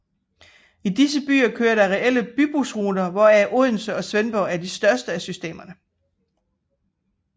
I disse byer kører der reelle bybussystemer hvoraf Odense og Svendborg er de største af systemerne